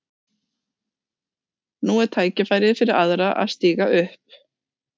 Nú er tækifærið fyrir aðra að stíga upp.